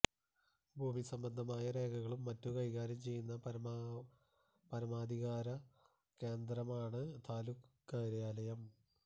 ഭൂമി സംബന്ധമായ രേഖകളും മറ്റും കൈകാര്യം ചെയ്യുന്ന പരമാധികാര കേന്ദ്രമാണ് താലൂക്ക് കാര്യാലയം